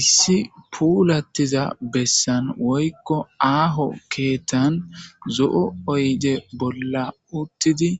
Issi puulatiza besan woyko aaho keethan zo'o oyde bola uthidi